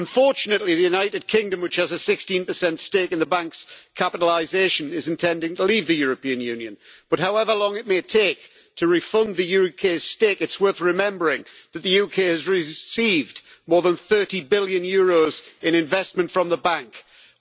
Unfortunately, the United Kingdom, which has a 16 stake in the EIB's capitalisation is intending to leave the European Union but, however long it may take to refund the UK's stake, it is worth remembering that the UK has received more than EUR 30 billion in investment from the EIB.